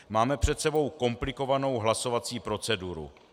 Máme před sebou komplikovanou hlasovací proceduru.